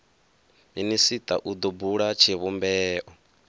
minisita u do bula tshivhumbeo